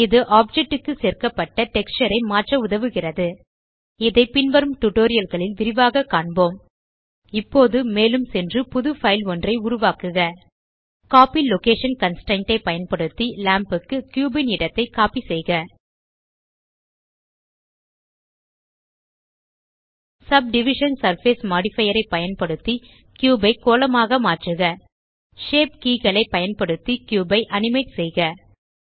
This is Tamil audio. இது ஆப்ஜெக்ட் க்கு சேர்க்கப்பட்ட டெக்ஸ்சர் ஐ மாற்ற உதவுகிறது இதை பின்வரும் tutorialகளில் விரிவாக காண்போம் இப்போது மேலும் சென்று புது பைல் ஒன்றை உருவாக்குக கோப்பி லொகேஷன் கன்ஸ்ட்ரெயின்ட் ஐ பயன்படுத்தி லாம்ப் க்கு கியூப் ன் இடத்தை கோப்பி செய்க சப்டிவிஷன் சர்ஃபேஸ் மோடிஃபயர் பயன்படுத்தி கியூப் ஐ கோளமாக மாற்றுக ஷேப் keyகளை பயன்படுத்தி கியூப் ஐ அனிமேட் செய்க